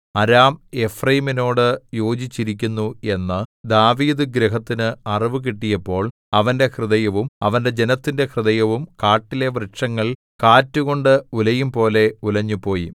അരാം എഫ്രയീമിനോടു യോജിച്ചിരിക്കുന്നു എന്നു ദാവീദുഗൃഹത്തിനു അറിവുകിട്ടിയപ്പോൾ അവന്റെ ഹൃദയവും അവന്റെ ജനത്തിന്റെ ഹൃദയവും കാട്ടിലെ വൃക്ഷങ്ങൾ കാറ്റുകൊണ്ട് ഉലയും പോലെ ഉലഞ്ഞുപോയി